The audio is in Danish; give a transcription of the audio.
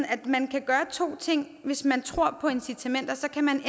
at man kan gøre to ting hvis man tror på incitamenter kan man